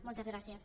moltes gràcies